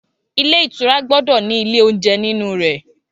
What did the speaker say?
Ilé ìtura gbọdọ ni ìlẹ oúnjẹ nínú rẹ̀.